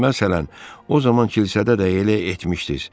Məsələn, o zaman kilsədə də elə etmişdiz.